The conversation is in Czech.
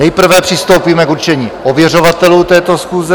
Nejprve přistoupíme k určení ověřovatelů této schůze.